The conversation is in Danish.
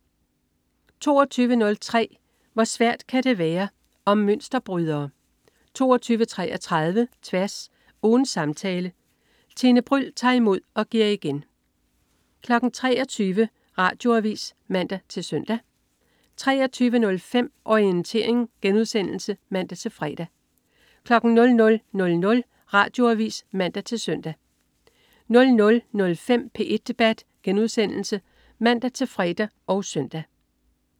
22.03 Hvor svært kan det være. Om mønsterbrydere 22.33 Tværs. Ugens samtale. Tine Bryld tager imod og giver igen 23.00 Radioavis (man-søn) 23.05 Orientering* (man-fre) 00.00 Radioavis (man-søn) 00.05 P1 debat* (man-fre og søn)